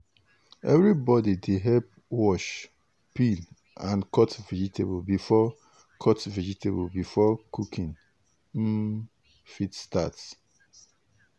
everybody dey help wash peel and cut vegetable before cut vegetable before cooking um fit start.